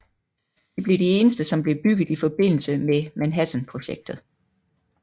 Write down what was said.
De blev de eneste som blev bygget i forbindelse med Manhattanprojektet